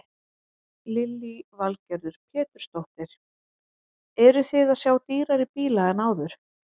Lillý Valgerður Pétursdóttir: Eruð þið að sjá dýrari bíla en áður?